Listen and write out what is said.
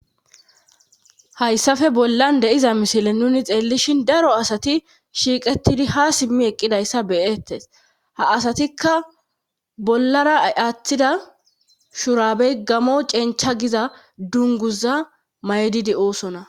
hayssafe bollan deiza misile nuni xeellishin daro asati shiiqettidi ha simmi eqqidayssa beyettes ha asatikka bollara aaththida shuraabey gamo cencha giza dunguza maydidi oosona